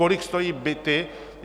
Kolik stojí byty?